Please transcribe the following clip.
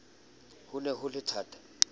ho ne ho le thata